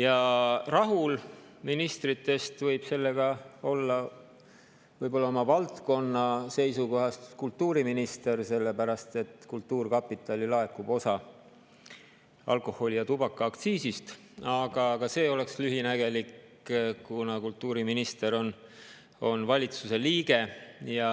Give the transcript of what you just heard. Ja rahul ministritest võib sellega olla oma valdkonna seisukohast kultuuriminister, sellepärast et kultuurkapitali laekub osa alkoholi‑ ja tubakaaktsiisist, aga ka see oleks lühinägelik, kuna kultuuriminister on valitsuse liige ja